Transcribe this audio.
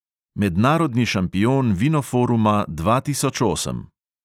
Mednarodni šampion vinoforuma dva tisoč osem.